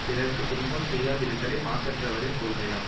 பிறர்க்கு துன்பம் செய்யாதிருத்தலே மாசற்றவரின் கொள்கையாம்